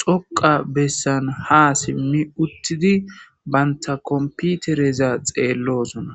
xoqa bessan ha simmi uttidi baynta komputereza xeellosona.